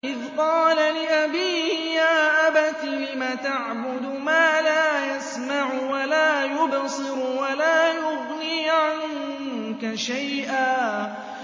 إِذْ قَالَ لِأَبِيهِ يَا أَبَتِ لِمَ تَعْبُدُ مَا لَا يَسْمَعُ وَلَا يُبْصِرُ وَلَا يُغْنِي عَنكَ شَيْئًا